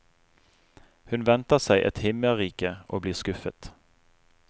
Hun venter seg et himmerike, og blir skuffet.